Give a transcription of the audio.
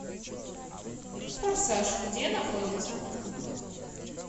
форсаж где находится